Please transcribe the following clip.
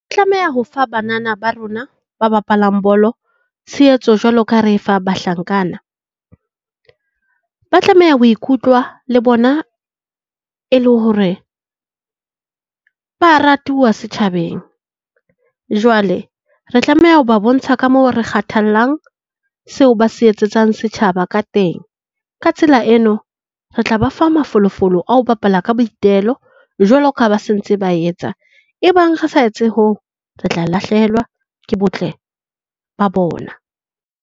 Tlameha ho fa banana ba rona ba bapalang bolo tshehetso jwalo ka ha re e fa bahlankana. Ba tlameha ho ikutlwa le bona e le hore ba ratuwa setjhabeng. Jwale re tlameha ho ba bontsha ka moo re kgathallang seo ba se etsetsang setjhaba ka teng. Ka tsela eno, re tla ba fa mafolofolo a ho bapala ka boitelo, jwalo ka ha ba se ntse ba etsa. Ebang re sa etse hoo re tla lahlehelwa ke botle ba bona.